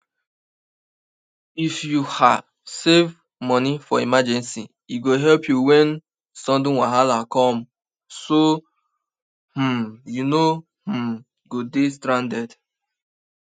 if you um save money for emergency e go help you when sudden wahala come so um you no um go dey stranded